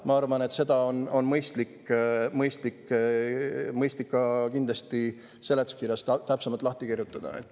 Ma arvan, et kindlasti on mõistlik see kõik ka seletuskirjas täpsemalt lahti kirjutada.